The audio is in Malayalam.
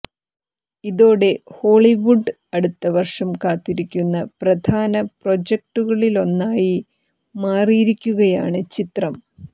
ഇതോടെ ഹോളിവുഡ് അടുത്ത വര്ഷം കാത്തിരിക്കുന്ന പ്രധാന പ്രോജക്ടുകളിലൊന്നായി മാറിയിരിക്കുകയാണ് ചിത്രം